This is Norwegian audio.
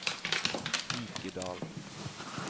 Vikedal